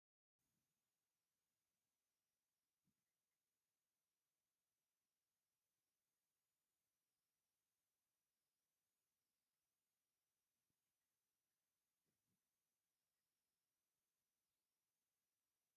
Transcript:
ፕንክ ሕብሪ ዘለዎም ባንቡሎታትን ሪቨንን ዘለዎ ኮይኑ ፀሊም ሕበሪ ዘለዎ ካብቶ ኣርባዕተ እግሪ ተሽከርካሪት ካብ ትብሃል ሓደ ዝኮነት እንታይ ትብሃል ሹማ?